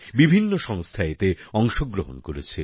বিভিন্ন সংস্থা এতে অংশগ্রহণ করেছে